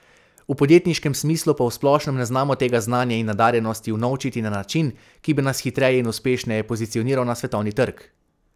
V podjetniškem smislu pa v splošnem ne znamo tega znanja in nadarjenosti unovčiti na način, ki bi nas hitreje in uspešneje pozicioniral na svetovni trg.